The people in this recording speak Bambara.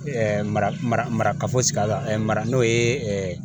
mara mara mara k'a fɔ segin a kan mara n'o ye